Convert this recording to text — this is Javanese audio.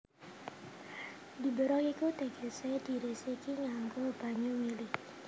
Diberok iku tegesé diresiki nganggo banyu mili